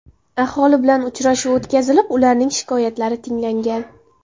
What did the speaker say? Aholi bilan uchrashuv o‘tkazilib, ularning shikoyatlari tinglangan.